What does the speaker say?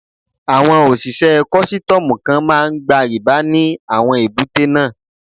Àwọn òṣìṣẹ́ kọ́sítọ́mù kan máa ń gba rìbá ní àwọn èbúté náà.